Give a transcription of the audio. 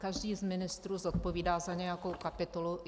Každý z ministrů zodpovídá za nějakou kapitolu.